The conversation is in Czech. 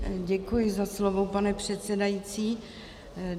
Děkuji za slovo, pane předsedající.